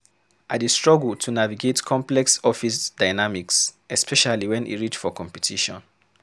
I dey struggle to navigate complex office dynamics, especially wen e reach for competition.